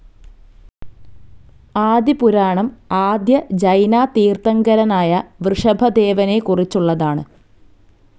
ആദി പുരാണം ആദ്യ ജൈന തീർഥങ്കരനായ വൃഷഭദേവനെ കുറിച്ചുള്ളതാണ്.